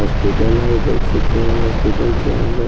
hospital है देख सकते हैं हॉस्पिटल के अंदर --